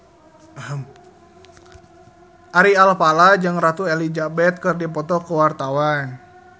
Ari Alfalah jeung Ratu Elizabeth keur dipoto ku wartawan